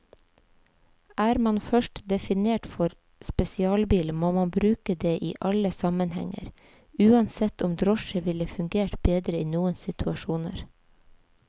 Er man først definert for spesialbil, må man bruke det i alle sammenhenger, uansett om drosje ville fungert bedre i noen situasjoner.